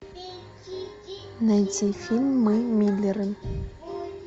найти фильм мы миллеры